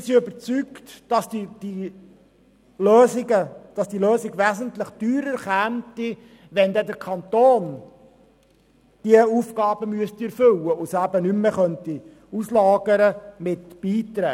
Wir sind überzeugt, dass diese Lösung wesentlich teurer zu stehen käme, wenn der Kanton diese Aufgaben erfüllen müsste und sie nicht mehr dank Beiträgen auslagern könnte.